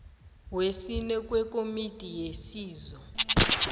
wesine wekomiti yesizo